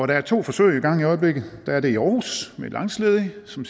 der er to forsøg i gang i øjeblikket der er det i aarhus med langtidsledige som